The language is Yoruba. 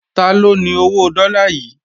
Taló ni owó dọ́là yìí?